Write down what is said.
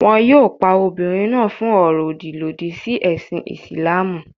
Wọn yóò pa obìnrin náà fún ọ̀rọ̀-òdì lòdì sí ẹ̀sìn Ìsìlámù.